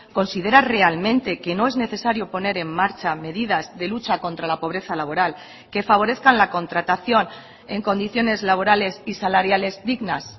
considera realmente que no es necesario poner en marcha medidas de lucha contra la pobreza laboral que favorezcan la contratación en condiciones laborales y salariales dignas